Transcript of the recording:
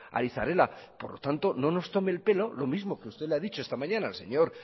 ari zarela por lo tanto no nos tome el pelo lo mismo que usted le ha dicho esta mañana al señor